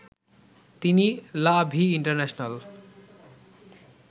তিনি লা ভি ইন্টারন্যাশনাল